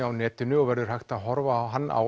á netinu og verður hægt að horfa á hann á